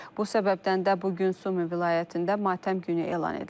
Bu səbəbdən də bu gün Sumi vilayətində matəm günü elan edilib.